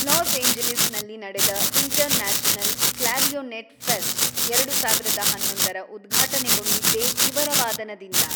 Los Angeles ನಲ್ಲಿ ನಡೆದ international clarinet fest ಎರಡು ಸಾವಿರದ ಹನ್ನೊಂದರ ಉದ್ಘಾಟನೆಗೊಂಡಿದ್ದೇ ಇವರ ವಾದನದಿಂದ.